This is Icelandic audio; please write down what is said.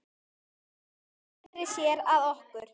Hún sneri sér að okkur